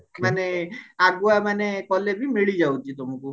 ମାନେ ଆଗୁଆ ମାନେ କଲେ ବି ମିଳି ଯାଉଛି ତମକୁ